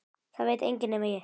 Það veit enginn nema ég.